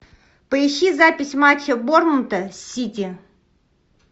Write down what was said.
поищи запись матча борнмута с сити